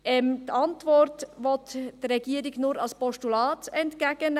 Gemäss der Antwort will die Regierung den Vorstoss nur als Postulat entgegennehmen.